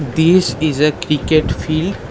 This is a cricket field.